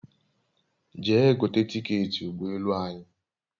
Jee gote tiketi ugbo elu anyi